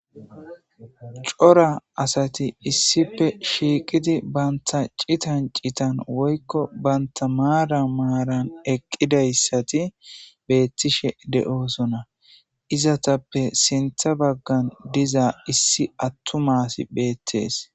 Cora asati issippe shiqidi banta citan citan woyko banta maran maran eqidaysati betishe de'osona izetappe sintha bagan diza issi attuma asi beetes